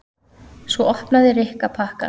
Svo opnaði Rikka pakkann.